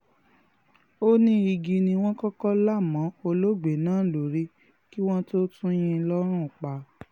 ó ní igi ni wọ́n kọ́kọ́ là mọ́ olóògbé náà lórí kí wọ́n tóó tún yìn ín lọ́rùn pa